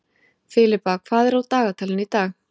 Filippa, hvað er í dagatalinu í dag?